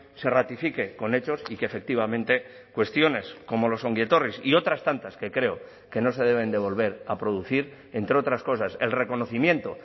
se ratifique con hechos y que efectivamente cuestiones como los ongi etorris y otras tantas que creo que no se deben devolver a producir entre otras cosas el reconocimiento